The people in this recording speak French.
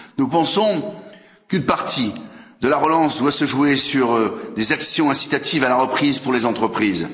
Nous pensons qu'une partie de la relance doit se jouer sur des actions incitatives à la reprise pour les entreprises.